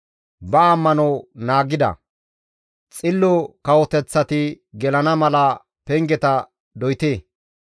Ba ammano naagida, xillo kawoteththati gelana mala pengeta doyte.